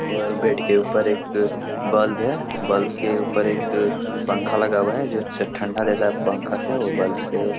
और बेड के ऊपर एक बल्ब है बल्ब के ऊपर एक पंखा लगा हुआ है जो च ठंडा देता है पंखा से औ बल्ब से।